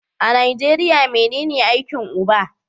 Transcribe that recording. A Nijeriya menen aikin uba?